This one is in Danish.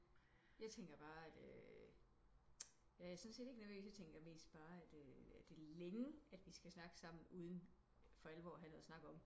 Jeg tænker bare at øh jeg er sådan set ikke nervøs jeg mest bare at øh det er længe vi skal snakke sammen uden for alvor at have noget at snakke om